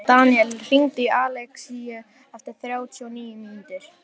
Daníel, hringdu í Alexínu eftir þrjátíu og níu mínútur.